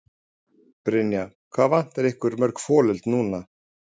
Brynja: Hvað vantar ykkur mörg folöld núna?